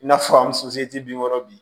I n'a fɔ an bin kɔrɔ bi